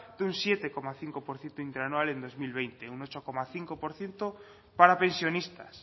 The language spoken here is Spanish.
de un siete coma cinco por ciento interanual en dos mil veinte un ocho coma cinco por ciento para pensionistas